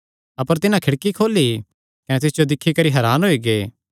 अपर पतरस दरवाजे ठोरदा ई रेह्आ अपर तिन्हां खिड़की खोली कने तिस जो दिक्खी करी हरान होई गै